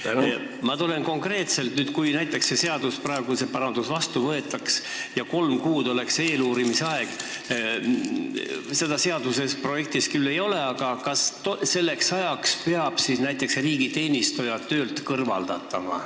Ma küsin nüüd konkreetselt, et kui see seadusparandus vastu võetakse ja eeluurimise aeg on kolm kuud – seda küll seaduse projektis ei ole –, siis kas selleks ajaks peab näiteks riigiteenistuja töölt kõrvaldama.